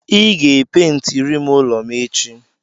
Ị ga-epentirim ụlọ m echi.